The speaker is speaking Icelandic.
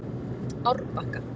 Árbakka